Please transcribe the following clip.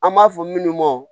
An b'a fɔ minnu ma